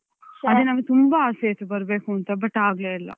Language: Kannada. ಅದೇ ನಂಗ್ ತುಂಬಾ ಆಸೆ ಇತ್ತು ಬರ್ಬೇಕು ಅಂತ but ಆಗ್ಲೇ ಇಲ್ಲ